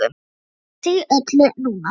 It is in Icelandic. AÐ SPEGLA SIG Í ÖLLU NÚNA!